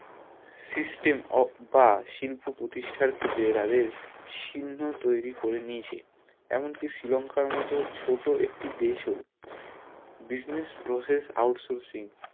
system বা শিল্প প্রঠিস্টার ক্ষেত্রে তাদের চিহ্ন তৈরী করে নিয়েছে এমন কি শ্রী লংকার মতো ছোট একটি দেশ ও business process outsoursing